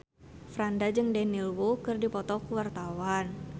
Franda jeung Daniel Wu keur dipoto ku wartawan